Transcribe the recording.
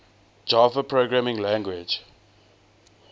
java programming language